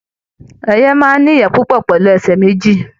Ẹyẹ máa n ní ìyẹ́ púpọ pẹlu ẹsẹ méjì.